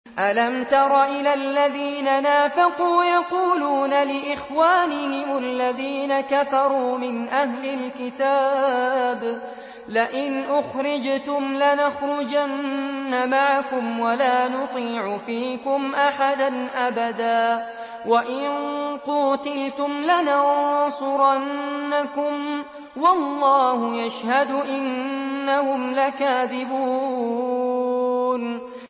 ۞ أَلَمْ تَرَ إِلَى الَّذِينَ نَافَقُوا يَقُولُونَ لِإِخْوَانِهِمُ الَّذِينَ كَفَرُوا مِنْ أَهْلِ الْكِتَابِ لَئِنْ أُخْرِجْتُمْ لَنَخْرُجَنَّ مَعَكُمْ وَلَا نُطِيعُ فِيكُمْ أَحَدًا أَبَدًا وَإِن قُوتِلْتُمْ لَنَنصُرَنَّكُمْ وَاللَّهُ يَشْهَدُ إِنَّهُمْ لَكَاذِبُونَ